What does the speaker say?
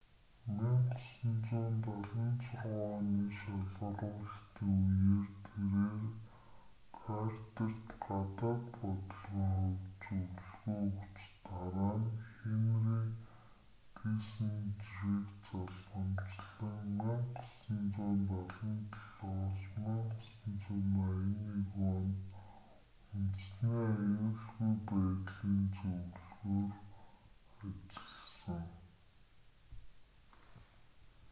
1976 оны шалгаруулалтын үеэр тэрээр картерт гадаад бодлогын хувьд зөвлөгөө өгч дараа нь хенри киссинжерийг залгамжлан 1977-с 1981 онд үндэсний аюулгүй байдлын зөвлөхөөр үабз ажилласан